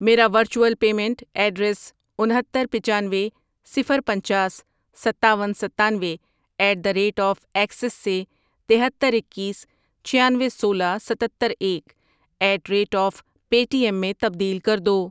میرا virtual payment address انھتر، پچانوے، صفر، پنچاس، ستاون، ستانوے، at the rate of Axis سے تہتر، اکیس، چھیانوے، سولہ، ستتر، ایک، at rate of Paytm میں تبدیل کر دو۔